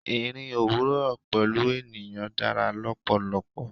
Ìrìn òwúrò pẹ̀lú ènìyàn dára lọ́pọ̀lọpọ̀.